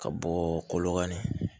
Ka bɔ kɔlɔn kan na